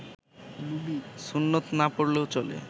সুন্নত না পড়লেও চলে